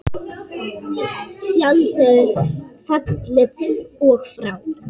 Tjaldið er fallið og frá.